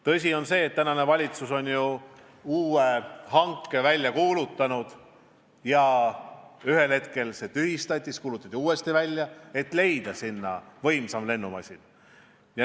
Tõsi on see, et valitsus kuulutas välja uue hanke, ühel hetkel see tühistati ja siis kuulutati uuesti välja, et leida sinna võimsam lennumasin.